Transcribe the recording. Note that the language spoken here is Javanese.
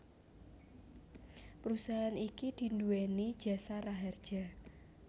Perusahaan iki diduweni Jasa Raharja